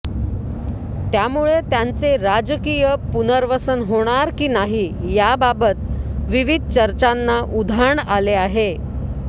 त्यामुळे त्यांचे राजकीय पूनर्वसन होणार की नाही याबाबत विविध चर्चांना उधाण आले आहे